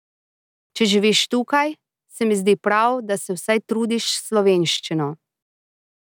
Če živiš tukaj, se mi zdi prav, da se vsaj trudiš s slovenščino.